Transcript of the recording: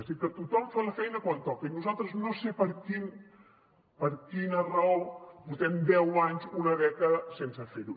és a dir que tothom fa la feina quan toca i nosaltres no sé per quina raó portem deu anys una dècada sense fer ho